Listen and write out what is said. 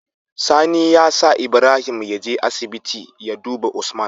Sani ya sa Ibrahim yaje asibiti ya duba usman